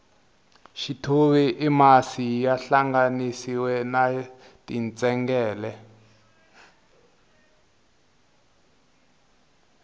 xithuvi i masi ya hlanganisiwile na tintsengele